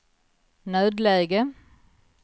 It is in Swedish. nödläge